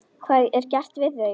Hvað er gert við þau?